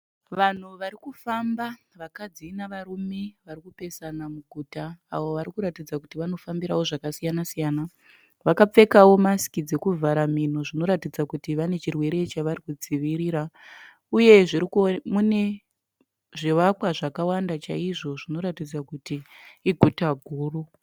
Vanhu varikufamba vakadzi navarume varikupesana muguta. Avo varikuratidza kuti vanofambirawo zvakasiyana -siyana. Vakapfekawo masiki dzekuvhara mhino zvinoratidza kuti vane chirwere chavarikudzivirira. Uye mune zvivakwa zvakawanda chaizvo zvinoratidza kuti iguta guru.